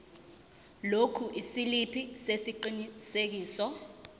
lokhu isiliphi sesiqinisekiso